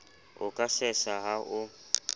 o ka sesa ha o